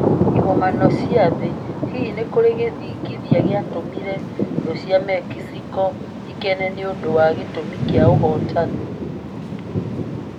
Igomano cia Thĩ: Hihi nĩ kũrĩ gĩthingithia gĩatũmire thũ cia Mexico ikene nĩ ũndũ wa gĩtũmi kĩa ũhootani?